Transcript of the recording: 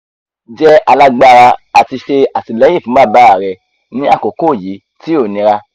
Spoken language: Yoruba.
jẹ́ alágbára ati ṣe atilẹyin fun baba rẹ ni akoko yi ti o nira